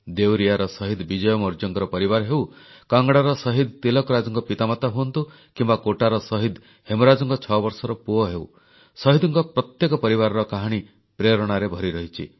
ଦେୱରିୟାର ଶହୀଦ ବିଜୟ ମୌର୍ଯ୍ୟଙ୍କ ପରିବାର ହେଉ କାଙ୍ଗଡ଼ାର ଶହିଦ ତିଲକରାଜଙ୍କ ପିତାମାତା ହୁଅନ୍ତୁ କିମ୍ବା କୋଟାର ଶହିଦ ହେମରାଜଙ୍କ ଛଅବର୍ଷର ପୁଅ ହେଉ ଶହୀଦଙ୍କ ପ୍ରତ୍ୟେକ ପରିବାରର କାହାଣୀ ପ୍ରେରଣାରେ ଭରିରହିଛି